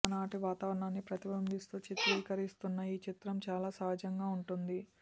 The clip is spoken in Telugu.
ఆనాటి వాతావరణాన్ని ప్రతిబింబిస్తూ చిత్రీకరిస్తున్న ఈ చిత్రం చాలా సహజంంగా ఉంటుంది